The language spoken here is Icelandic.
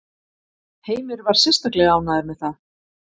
Heimir var sérstaklega ánægður með það?